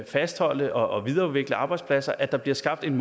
fastholde og videreudvikle arbejdspladser at der bliver skabt en